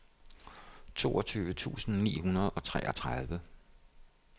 toogtyve tusind ni hundrede og treogtredive